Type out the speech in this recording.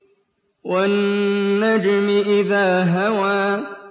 وَالنَّجْمِ إِذَا هَوَىٰ